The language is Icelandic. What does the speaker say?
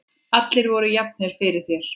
Allir voru jafnir fyrir þér.